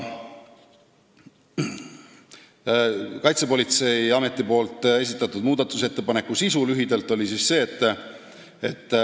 Selle muudatusettepaneku sisu oli lühidalt öeldes järgmine.